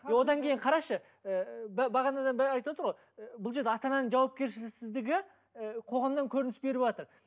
одан кейін қарашы ыыы бағанадан бері айтывотыр ғой бұл жерде ата ананың жауапкершісіздігі і қоғамнан көрініс беріватыр